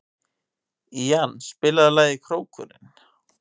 Ían, spilaðu lagið „Krókurinn“.